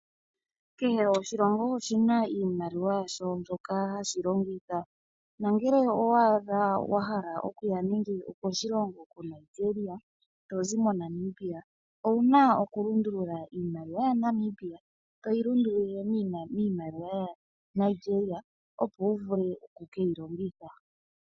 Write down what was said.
Kehe oshilongo oshina iimaliwa yasho mpoka hayi longithwa. Nongele owaadha wahala okuya koshilongo koNigeria tozi moNamibia owuna okulundulula iimaliwa yaNamibia, toyi lundululile miimaliwa yaNigeria opo wuvule okukeyi longitha.